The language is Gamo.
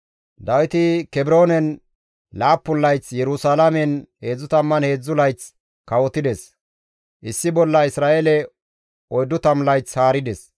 Dawiti Kebroonen 7 layth, Yerusalaamen 33 layth kawotides; issi bolla Isra7eele 40 layth haarides.